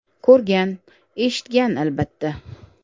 Ko‘rgan, eshitgan, albatta.